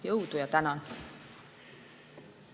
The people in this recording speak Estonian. Jõudu ja tänan!